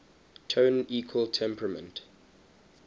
tone equal temperament